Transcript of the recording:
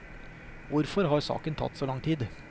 Hvorfor har saken tatt så lang tid?